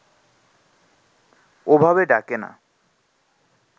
ওভাবে ডাকে না